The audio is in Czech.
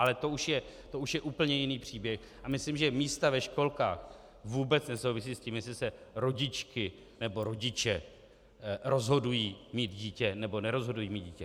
Ale to už je úplně jiný příběh a myslím, že místa ve školkách vůbec nesouvisí s tím, jestli se rodičky nebo rodiče rozhodují mít dítě, nebo nerozhodují mít dítě.